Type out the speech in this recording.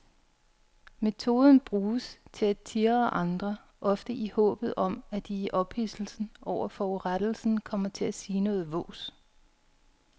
Metoden bruges til at tirre andre, ofte i håbet om at de i ophidselsen over forurettelsen kommer til at sige noget vås.